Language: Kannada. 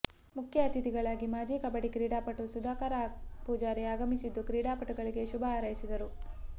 ಮುಖ್ಯ ಅತಿಥಿಗಳಾಗಿ ಮಾಜಿ ಕಬಡಿ ಕ್ರೀಡಾಪಟು ಸುಧಾಕರ ಪೂಜಾರಿ ಆಗಮಿಸಿದ್ದು ಕ್ರೀಡಾಪಟುಗಳಿಗೆ ಶುಭ ಹಾರೈಸಿದರು